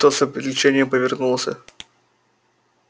тот с облегчением повернулся